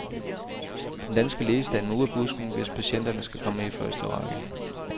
Den danske lægestand må ud af busken, hvis patienterne skal komme i første række.